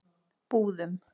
Búðum